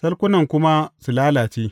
salkunan kuma su lalace.